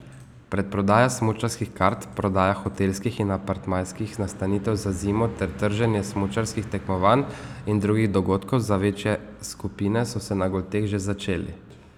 Predprodaja smučarskih kart, prodaja hotelskih in apartmajskih nastanitev za zimo ter trženje smučarskih tekmovanj in drugih dogodkov za večje skupine so se na Golteh že začeli.